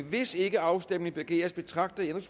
hvis ikke afstemning begæres betragter jeg